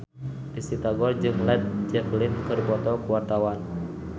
Risty Tagor jeung Led Zeppelin keur dipoto ku wartawan